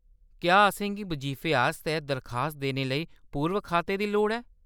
क्या असेंगी बजीफे आस्तै दरखास्त देने लेई पूर्व-खाते दी लोड़ ऐ ?